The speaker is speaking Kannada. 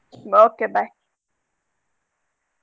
Okay bye.